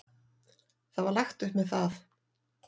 Það var lagt upp með það.